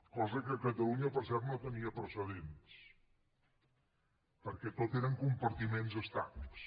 cosa que a catalunya per cert no tenia precedents perquè tot eren compartiments estancs